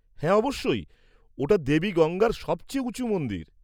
-হ্যাঁ অবশ্যই। ওটা দেবী গঙ্গার সবচেয়ে উঁচু মন্দির।